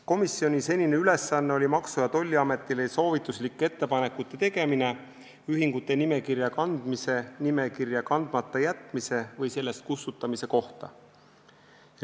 Komisjoni ülesanne oli teha Maksu- ja Tolliametile soovituslikke ettepanekuid ühingute nimekirja kandmise, nimekirja kandmata jätmise või sealt kustutamise kohta.